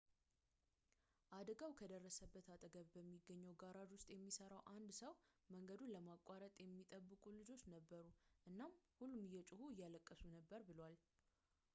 አደጋው ከደረሰበት አጠገብ በሚገኝ ጋራዥ ውስጥ የሚሠራ አንድ ሰው መንገዱን ለማቋረጥ የሚጠብቁ ልጆች ነበሩ እናም ሁሉም እየጮሁ እያለቀሱ ነበር ብሏል